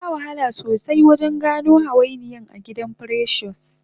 Ansha wahala sosai wajen gano hawainiyan agidan precious